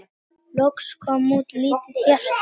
Loks kom út lítið hjarta